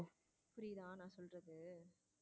புரியுதா நான் சொல்றது.